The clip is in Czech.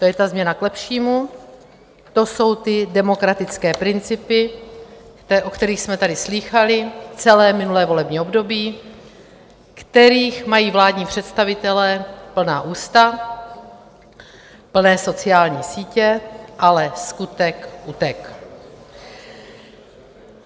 To je ta změna k lepšímu, to jsou ty demokratické principy, o kterých jsme tady slýchali celé minulé volební období, kterých mají vládní představitelé plná ústa, plné sociální sítě, ale skutek utek.